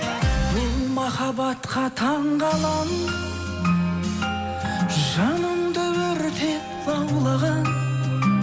бұл махаббатқа таңғаламын жанымды өртеп лаулаған